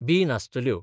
बी नासतल्यो.